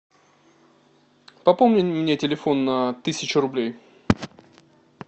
пополни мне телефон на тысячу рублей